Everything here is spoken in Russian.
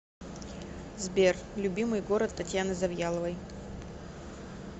сбер любимый город татьяны завьяловой